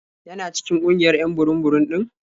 Yana cikin ƙungiyar 'yan burum-burum ɗin?